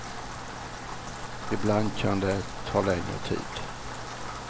Ibland kan det ta längre tid.